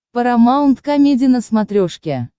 парамаунт комеди на смотрешке